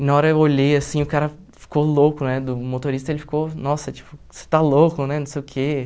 E na hora eu olhei, assim, o cara ficou louco, né, do motorista, ele ficou, nossa, tipo, você está louco, né, não sei o quê.